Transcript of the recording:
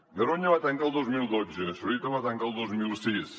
garoña va tancar el dos mil dotze zorita va tancar el dos mil sis